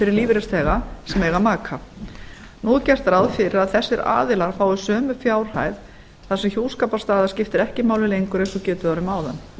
fyrir lífeyrisþega sem eiga maka nú er gert ráð fyrir að þessir aðilar fái sömu fjárhæð þar sem hjúskaparstaða skiptir ekki máli lengur eins og getið var um áðan